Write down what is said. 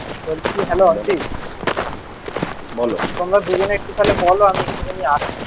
বলছি হ্যালো অঞ্চিত তোমরা দুজনে একটু তাহলে বলো আমি একটুখানি আসছি